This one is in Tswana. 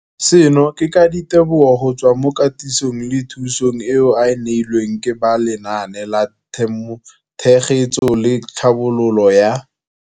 Seno ke ka ditebogo go tswa mo katisong le thu song eo a e neilweng ke ba Lenaane la Tshegetso le Tlhabololo ya.